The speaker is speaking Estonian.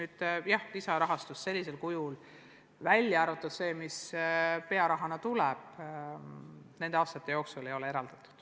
Aga jah, lisaraha sellisel kujul, välja arvatud summa, mis pearahana tuleb, nende aastate jooksul ei ole eraldatud.